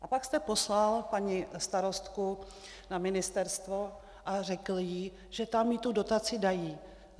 A pak jste poslal paní starostku na ministerstvo a řekl jí, že tam jí tu dotaci dají.